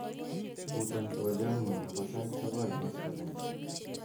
butan twolyonyun nebo sait sogol koskolen